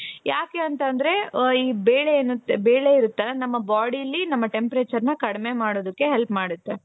ಯಾಕೆ ಅಂತ ಅಂದ್ರೆ ಈ ಬೇಳೆ ಇರುತ್ತಲ್ಲ ನಮ್ಮ bodyಲಿ ನಮ್ಮ temperatureನ ಕಡಿಮೆ ಮಾಡೋದಕ್ಕೆ help ಮಾಡುತ್ತೆ.